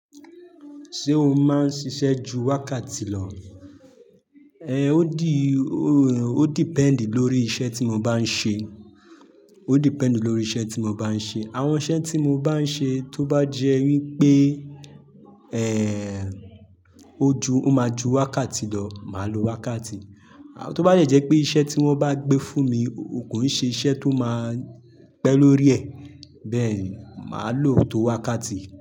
Ṣé o máa ń ṣiṣẹ́ ju wákàtí lọ? Ehn, ó di, ó depend lórí iṣẹ́ tí mo bá ń ṣe, ó depend lórí iṣẹ́ tí mo bá ń ṣe. Àwọn iṣẹ́ tí mo bá ń ṣe tó bá jẹ́ wípé o ju, ó máa ju wákàtí lọ, màá lo wákàtí. Tó bá dẹ jẹ́ pé iṣẹ́ tí wón bá gbé fún mi kò n ṣe iṣẹ́ tó máa pẹ́ lórí ẹ̀, bẹ́ẹ̀ni, màá lo òótó wákàtí.